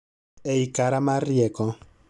Ei kara mar rieko